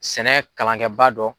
Sɛnɛ kalankɛbaa dɔ.